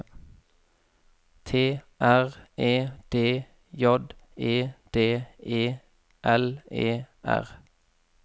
T R E D J E D E L E R